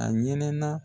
A ɲɛnɛ na